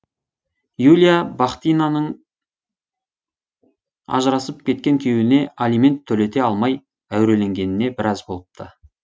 юлия бахтинаның ажырасып кеткен күйеуіне алимент төлете алмай әуреленгеніне біраз болыпты